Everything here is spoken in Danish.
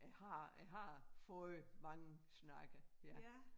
Jeg har jeg har fået mange snakke ja